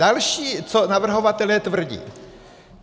Další, co navrhovatelé tvrdí.